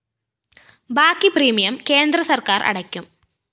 ബാക്കി പ്രീമിയം കേന്ദ്ര സര്‍ക്കാര്‍ അടയ്ക്കും